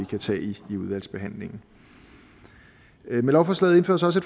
kan tage det i udvalgsbehandlingen med lovforslaget indføres også